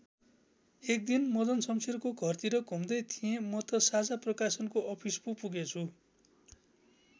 एकदिन मदन शम्सेरको घरतिर घुम्दै थिएँ म त साझा प्रकाशनको अफिस पो पुगेछु।